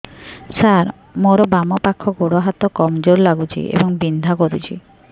ସାର ମୋର ବାମ ପାଖ ଗୋଡ ହାତ କମଜୁର ଲାଗୁଛି ଏବଂ ବିନ୍ଧା କରୁଛି